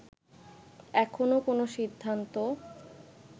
এখনো কোন সিদ্ধান্ত